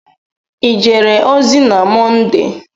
I jere ozi na Mọnde?